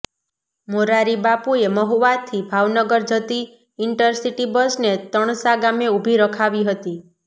મોરારિબાપુએ મહુવાથી ભાવનગર જતી ઈન્ટરસિટી બસને તણસા ગામે ઉભી રખાવી હતી